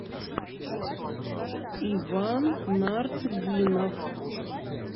иван нартдинов